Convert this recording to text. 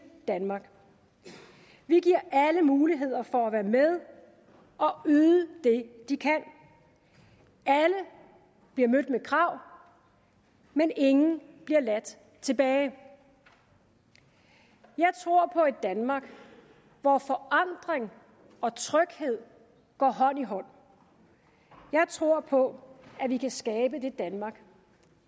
danmark vi giver alle mulighed for at være med og yde det de kan alle bliver mødt med krav men ingen bliver ladt tilbage jeg tror på et danmark hvor forandring og tryghed går hånd i hånd og jeg tror på at vi kan skabe det danmark